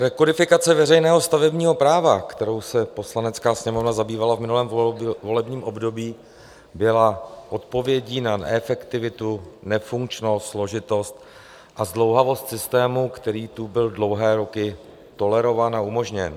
Rekodifikace veřejného stavebního práva, kterou se Poslanecká sněmovna zabývala v minulém volebním období, byla odpovědí na neefektivitu, nefunkčnost, složitost a zdlouhavost systému, který tu byl dlouhé roky tolerován a umožněn.